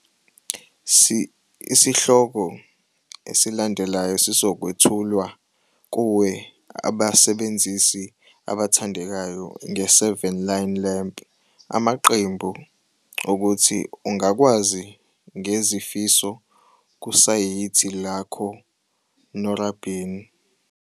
Isihloko esilandelayo sizokwethulwa kuwe abasebenzisi abathandekayo nge-7 line lamp amaqembu ukuthi ungakwazi ngezifiso kusayithi lakho norabin.